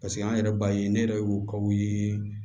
Paseke an yɛrɛ b'a ye ne yɛrɛ y'u kaw ye